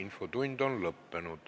Infotund on lõppenud.